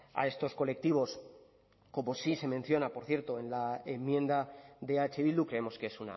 a estos colectivos como sí se menciona por cierto en la enmienda de eh bildu creemos que es